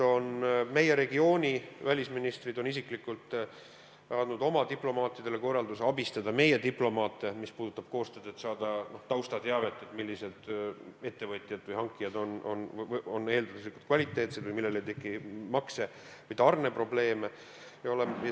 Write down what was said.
Meie regiooni välisministrid on isiklikult andnud oma diplomaatidele korralduse abistada meie diplomaate, mis puudutab koostööd, et saada taustateavet, millised ettevõtjad või hankijad on eelduslikult kvaliteetsed või millel ei teki makse- või tarneprobleeme.